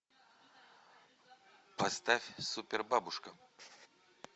поставь супер бабушка